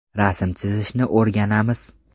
Rasm chizishni o‘rganamiz.